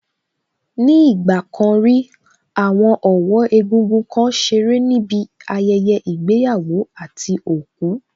Ní ìgbà kan rí, àwọn ọ̀wọ́ egúngún kan ṣeré níbi ayẹyẹ ìgbéyàwó àti òkú